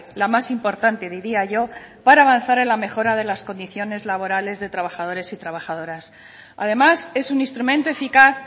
la más importante diría yo para avanzar en la mejora de las condiciones laborales de trabajadores y trabajadoras además es un instrumento eficaz